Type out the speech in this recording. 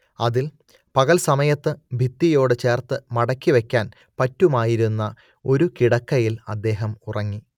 അതിൽ പകൽ സമയത്ത് ഭിത്തിയോടുചേർത്ത് മടക്കിവക്കാൻ പറ്റുമായിരുന്ന ഒരു കിടക്കയിൽ അദ്ദേഹം ഉറങ്ങി